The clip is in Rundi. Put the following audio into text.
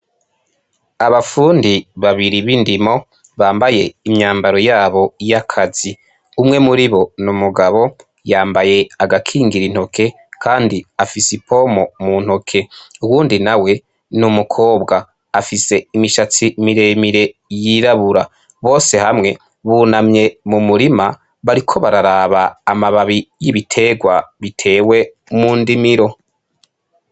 Abapfundi babiri b'indimo bambaye imyambaro yabo y'akazi umwe muri bo ni umugabo yambaye agakingira intoke, kandi afise i pomo mu ntoke uwundi na we ni umukobwa afise imishatsi miremire yirabura bose hamwe buna amye mu murima bariko bararaba amababi y'ibiterwa, bitewe mu ndimiro.